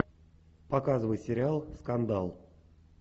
показывай сериал скандал